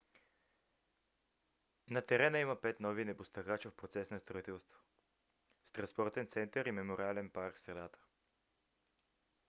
на терена има пет нови небостъргача в процес на строителство с транспортен център и мемориален парк в средата